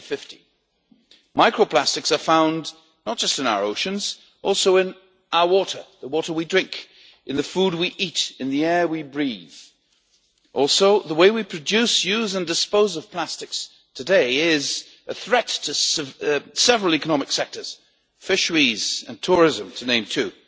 2050. Micro plastics are found not just in our oceans but also in our water, in the water we drink, in the food we eat, and in the air we breathe. Also, the way we produce, use and dispose of plastics today is a threat to several economic sectors fisheries and tourism, to name two.